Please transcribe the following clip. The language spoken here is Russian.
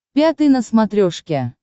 пятый на смотрешке